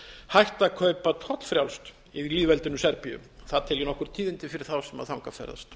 hægt að kaupa tollfrjálst í lýðveldinu serbíu það tel ég nokkur tíðindi fyrir þá sem þangað ferðast